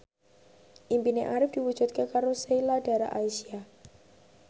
impine Arif diwujudke karo Sheila Dara Aisha